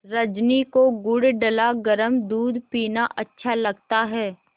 रजनी को गुड़ डला गरम दूध पीना अच्छा लगता है